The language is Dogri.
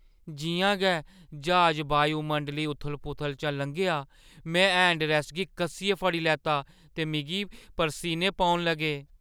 जि'यां गै ज्हाज वायुमंडली उथल-पुथल चा लंघेआ, में हैंडरैस्ट गी कस्सियै फड़ी लैता ते मिगी परसीने पौन लगे ।